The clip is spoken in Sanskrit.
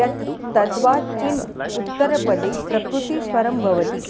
यत् तद्वाचिन्युत्तरपदे प्रकृतिस्वरं भवति